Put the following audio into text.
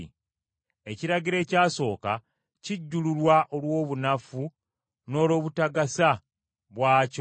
Ekiragiro ekyasooka kijjululwa olw’obunafu n’olw’obutagasa bwakyo,